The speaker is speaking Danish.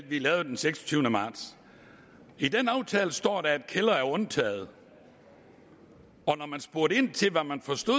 vi lavede den seksogtyvende marts i den aftale står der at kældre er undtaget og når man spurgte ind til hvad man forstår